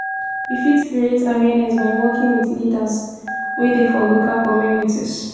we fit create awareness by working with leaders wey dey for local communities